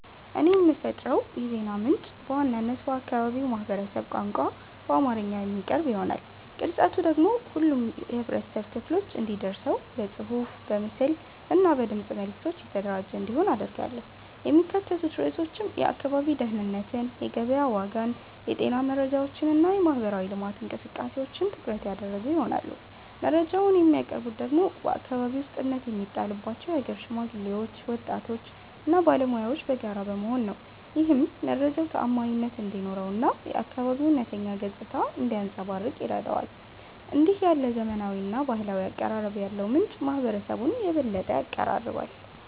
እኔ የምፈጥረው የዜና ምንጭ በዋናነት በአካባቢው ማህበረሰብ ቋንቋ በአማርኛ የሚቀርብ ይሆናል። ቅርጸቱ ደግሞ ሁሉም የህብረተሰብ ክፍሎች እንዲደርሰው በጽሑፍ፣ በምስል እና በድምፅ መልዕክቶች የተደራጀ እንዲሆን አደርጋለሁ። የሚካተቱት ርዕሶችም የአካባቢ ደህንነትን፣ የገበያ ዋጋን፣ የጤና መረጃዎችን እና የማህበራዊ ልማት እንቅስቃሴዎችን ትኩረት ያደረጉ ይሆናሉ። መረጃውን የሚያቀርቡት ደግሞ በአከባቢው ውስጥ እምነት የሚጣልባቸው የሀገር ሽማግሌዎች፣ ወጣቶች እና ባለሙያዎች በጋራ በመሆን ነው። ይህም መረጃው ተዓማኒነት እንዲኖረው እና የአካባቢው እውነተኛ ገጽታ እንዲያንጸባርቅ ይረዳዋል። እንዲህ ያለ ዘመናዊና ባህላዊ አቀራረብ ያለው ምንጭ ማህበረሰቡን የበለጠ ያቀራርባል።